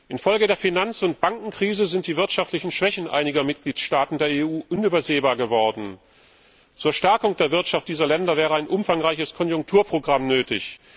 Infolge der Finanz und Bankenkrise sind die wirtschaftlichen Schwächen einiger Mitgliedstaaten der EU unübersehbar geworden. Zur Stärkung der Wirtschaft dieser Länder wäre ein umfangreiches Konjunkturprogramm nötig.